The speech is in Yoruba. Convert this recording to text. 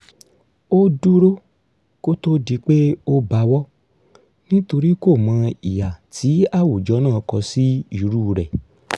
ó dúró kó tó di pé ó bawọ́ nítorí kòmọ ìhà tí àwùjọ náà kọ sí irú rẹ̀